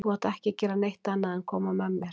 Þú átt ekki að gera neitt annað en að koma með mér.